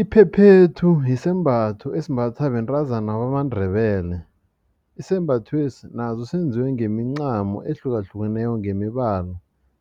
Iphephethu sisembatho esimbathwa bentazana bamaNdebele. Isembathwesi naso senziwe ngemincamo ehlukahlukeneko ngemibala